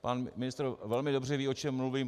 Pan ministr velmi dobře ví, o čem mluvím.